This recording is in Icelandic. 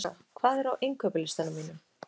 Bláklukka, hvað er á innkaupalistanum mínum?